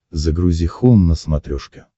загрузи хоум на смотрешке